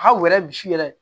Hali u yɛrɛ misi yɛrɛ